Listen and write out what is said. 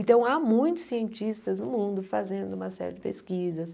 Então, há muitos cientistas no mundo fazendo uma série de pesquisas.